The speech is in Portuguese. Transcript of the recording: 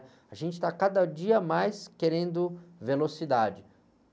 A gente está cada dia mais querendo velocidade